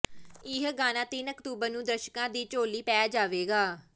ਇਹ ਗਾਣਾ ਤਿੰਨ ਅਕਤੂਬਰ ਨੂੰ ਦਰਸ਼ਕਾਂ ਦੀ ਝੋਲੀ ਪੈ ਜਾਵੇਗਾ